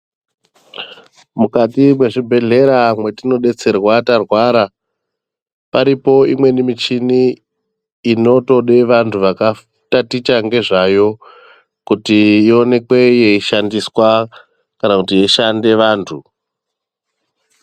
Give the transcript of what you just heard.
Mukati mwezvibhehlera mwetinodetserwa tarwara paripo imweni michini inotoda vanhu vakataticha ngezvayo kuti iwoneke yeishandiswa kana kuti yeishande vantu.